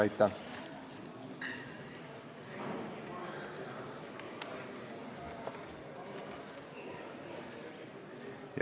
Aitäh!